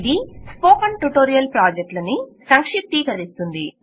ఇది spoken tutorial ప్రాజెక్ట్ను సంక్షిప్తీకరిస్తుంది